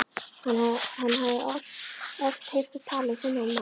Hann hafði oft heyrt þær tala um þennan mann.